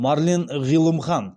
марлен ғилымхан